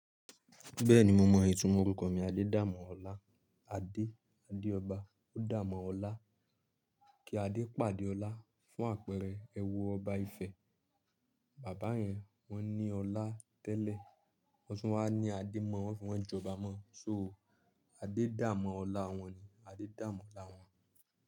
Bẹ́ẹ̀ni mo mọ̀ ìtumọ̀ orúkọ mi Adedamola. Adé, Adeọba ó dàá mọ́ ọlá. Kí Adé pàdé ọlá fún àpẹẹrẹ ẹwọ ọba Ifẹ̀. Bàbá yẹn wọ́n ní ọlá tẹ́lẹ̀ wọ́n tún wá ní adé ma, wọ́n fi wọ́n jẹ ọba ma Adedamola wọn ni Adedamola wọn.